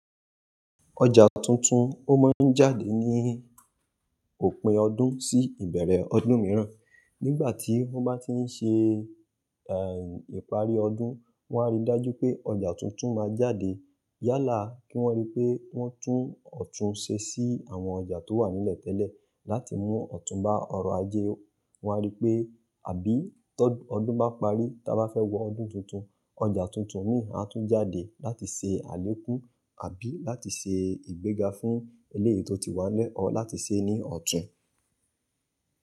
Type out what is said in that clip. Ọjà tuntun ó máa ń jáde ní òpin ọdún sí ìbẹ̀rẹ̀ ọdún mìíràn. Nígbà tí wọ́n bá ti ń ṣe, ìparí ọdún, wọn á rí dájú pé ọjà tuntun máa jáde. Yálà kí wọ́n rí pé wọ́n tún ọ̀tún ṣe sí àwọn ọjà tó wà nílẹ̀ tẹ́lẹ̀, láti mú ọ̀tún bá ọrọ̀ ajé. Wọ́n á rí pé àbí tọ́ ọdún bá parí, ta bá fẹ́ wọ ọdún tuntun, ọjà tuntun mìíràn mi a tún jáde láti ṣe àlékún àbí láti ṣe ìgbéga fún eleyi tò tí wà nílẹ̀ ọ́ láti ṣe é ní ọ̀tún.